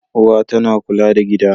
Uwa tana kula da gida.